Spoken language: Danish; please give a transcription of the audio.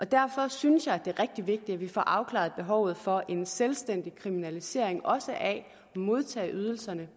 derfor synes jeg at det er rigtig vigtigt at vi får afklaret behovet for en selvstændig kriminalisering også at modtage ydelserne